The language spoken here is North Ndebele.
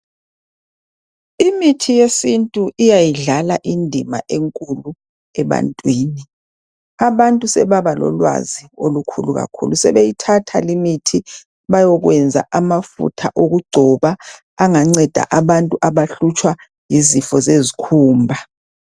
Imithi yesintu iyayidlala indima enkulu abantwini, abantu sebaba lolwazi olukhulu kakhulu sebeyithatha leyimithi bayokwenza amafutha okugcoba anganceda abantu abahlutshwa yizifo zezikhumba.